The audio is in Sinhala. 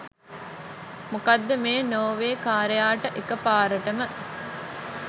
මොකක්ද මේ නෝර්වේකාරයාට එකපාරටම